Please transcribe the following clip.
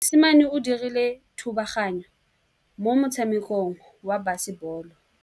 Mosimane o dirile thubaganyô mo motshamekong wa basebôlô.